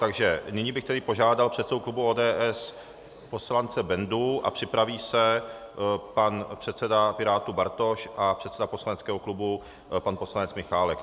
Takže nyní bych tedy požádal předsedu klubu ODS poslance Bendu a připraví se pan předseda Pirátů Bartoš a předseda poslaneckého klubu pan poslanec Michálek.